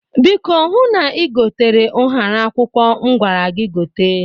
Biko hụ na ïgotere ụhara akwụkwọ m gwara gi gote.